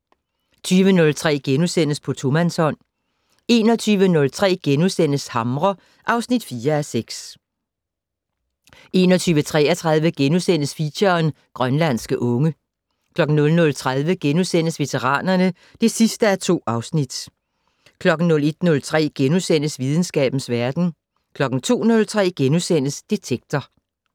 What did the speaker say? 20:03: På tomandshånd * 21:03: Hamre (4:6)* 21:33: Feature: Grønlandske unge * 00:30: Veteranerne (2:2)* 01:03: Videnskabens verden * 02:03: Detektor *